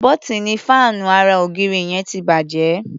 Bọ́tíìnì fáànù ara -ògiri yẹn ti bàjẹ́.